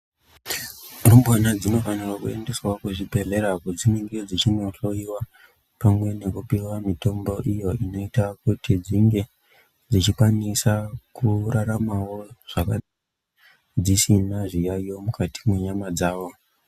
Rumbwana dzinofanirwa kuendeswawo kuzvibhedhleya kwadzinenge dzechinohloyiwa pamwe nekupiwa mitombo iyoo inoita kuti dzinge dzichikwanisa kuraramawo dzisina zviyayiyo mukati mwenyama dzavo.